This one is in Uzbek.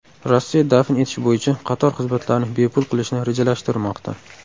Rossiya dafn etish bo‘yicha qator xizmatlarni bepul qilishni rejalashtirmoqda.